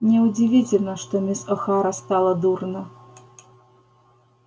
неудивительно что мисс охара стало дурно